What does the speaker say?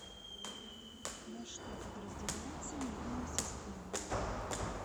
на что подразделяется нервная система